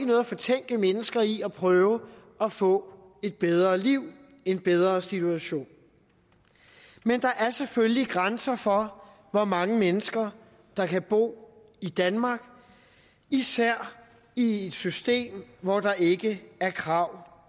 fortænke mennesker i at prøve at få et bedre liv en bedre situation men der er selvfølgelig grænser for hvor mange mennesker der kan bo i danmark især i et system hvor der ikke er krav